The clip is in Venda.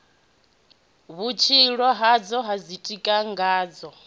vhutshilo hazwo ha ḓitika ngazwo